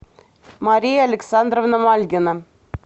мария александровна мальгина